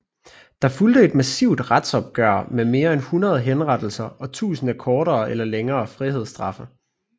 Der fulgte et massivt retsopgør med mere end 100 henrettelser og tusinder af kortere eller længere frihedsstraffe